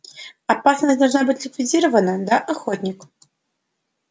опасность должна быть ликвидирована да охотник